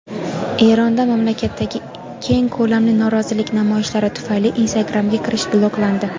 Eronda mamlakatdagi keng ko‘lamli norozilik namoyishlari tufayli Instagramga kirish bloklandi.